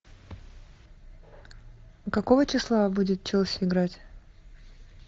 какого числа будет челси играть